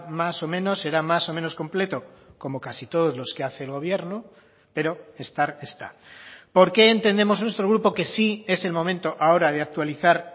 más o menos será más o menos completo como casi todos los que hace el gobierno pero estar está por qué entendemos nuestro grupo que sí es el momento ahora de actualizar